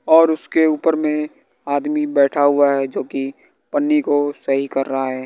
और उसके ऊपर में आदमी बैठा हुआ है जो कि पन्नी को सही कर रहा है।